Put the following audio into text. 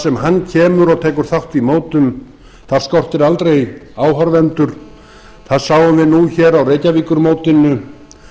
sem hann kemur og tekur þátt í mótum þar skortir aldrei áhorfendur það sáum við nú hér á reykjavíkurmótinu